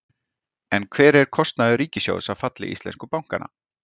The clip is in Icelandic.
En hver er kostnaður ríkissjóðs af falli íslensku bankanna?